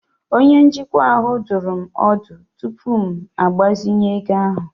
Onye njikwa ahụ dụrụ m ọdụ tupu m agbazinye ego ahụ.